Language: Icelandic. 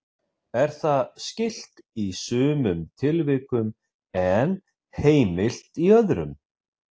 Er það skylt í sumum tilvikum en heimilt í öðrum.